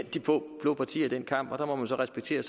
blå partier i den kamp og der må man respektere